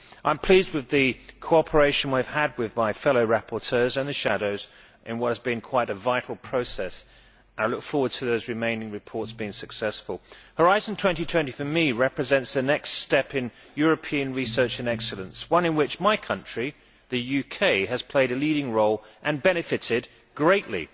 I am pleased with the cooperation I have had with my fellow rapporteurs and shadow rapporteurs in what has been quite a vital process. I look forward to those remaining reports being successful. Horizon 2020 for me represents a next step in European research and excellence, one in which my country, the UK, has played a leading role and benefitted greatly.